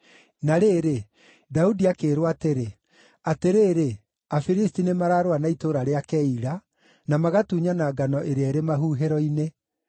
Na rĩrĩ, Daudi akĩĩrwo atĩrĩ, “Atĩrĩrĩ, Afilisti nĩmararũa na itũũra rĩa Keila, na magatunyana ngano ĩrĩa ĩrĩ mahuhĩro-inĩ.”